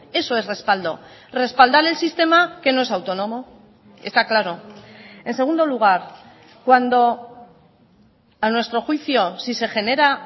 eso es respaldo respaldar el sistema que no es autónomo está claro en segundo lugar cuando a nuestro juicio si se genera